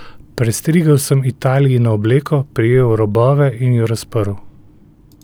Prestrigel sem Italijino obleko, prijel robove in jo razprl.